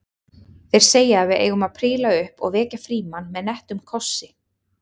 Þeir segja að við eigum að príla upp og vekja Frímann með nettum kossi